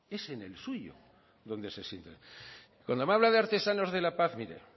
es en el suyo donde se sientan cuando me habla de artesanos de la paz mire